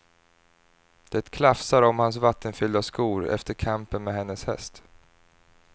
Det klafsar om hans vattenfyllda skor efter kampen med hennes häst.